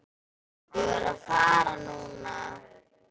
Ég verð að fara núna!